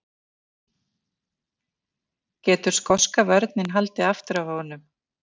Getur skoska vörnin haldið aftur af honum?